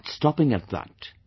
But we are not stopping at that